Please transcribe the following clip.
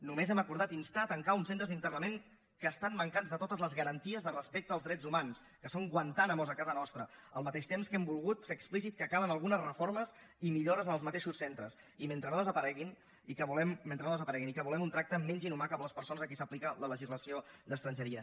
només hem acordat instar a tancar uns centres d’internament que estan mancats de totes les garanties de respecte als drets humans que són guantánamos a casa nostra al mateix temps que hem volgut fer explícit que calen algunes reformes i millores en els mateixos centres mentre no desapareguin i que volem un tracte menys inhumà cap a les persones a qui s’aplica la legislació d’estrangeria